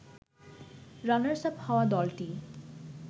runners up হওয়া দলটি